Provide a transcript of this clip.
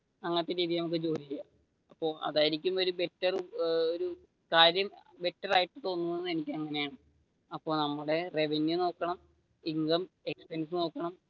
അങ്ങനത്തെ രീതിയിൽ നമുക്ക് ജോലി ചെയ്യാം അതായിരിക്കും ഒരു ബെറ്റർ ഒരു കാര്യം അപ്പൊ നമ്മുടെ റെവെന്യു നോക്കണം ഇൻകം, എക്സ്പെൻസ് നോക്കണം